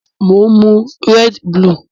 Mo n mu red bulù